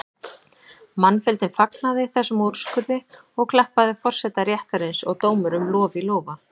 Mannfjöldinn fagnaði þessum úrskurði og klappaði forseta réttarins og dómurum lof í lófa.